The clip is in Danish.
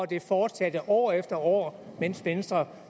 det fortsatte år efter år mens venstre